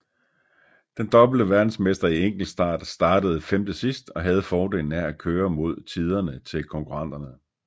Den dobbelte verdensmester i enkeltstart startede femte sidst og havde fordelen af at køre mod tiderne til konkurrenterne